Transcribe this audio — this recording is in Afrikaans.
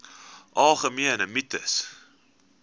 algemene mites